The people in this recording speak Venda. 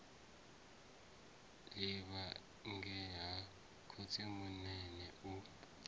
livha ngei ha khotsimunene u